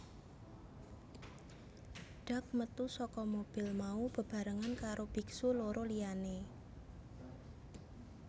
Duc métu saka mobil mau bebarengan karo biksu loro liyané